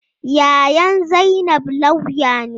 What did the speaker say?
Yayan zainab lauya ne.